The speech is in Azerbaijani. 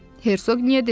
Hersoqniya dedi: